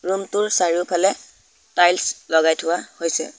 Room টোৰ চাৰিওফালে tiles লগাই থোৱা হৈছে।